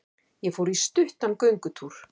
Ég fór í stuttan göngutúr.